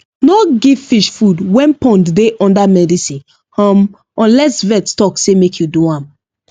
no give fish food when pond dey under medicine um unless vet talk say make you do am